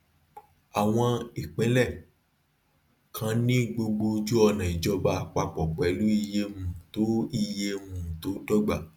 àwọn ìpínlẹ kan ní gbogbo ojúọnà ìjọba àpapọ pẹlú iye um tó iye um tó dọgba